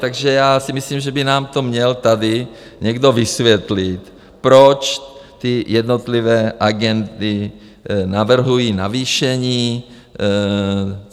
Takže já si myslím, že by nám to měl tady někdo vysvětlit, proč ty jednotlivé agendy navrhují navýšení?